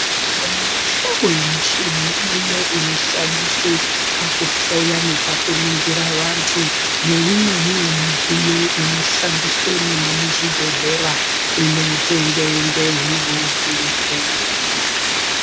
Muhlobo nemuhlobo yemichini iriyo inoshandiswe pakuhloya nepakuningire vantu, neimweniwo midziyo inoshandiswe mwona muzvibhedhlera, inotengwe ngehurumende.